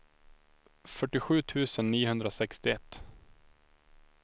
fyrtiosju tusen niohundrasextioett